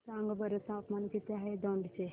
सांगा बरं तापमान किती आहे दौंड चे